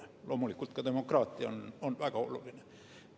Loomulikult ka demokraatia on väga oluline.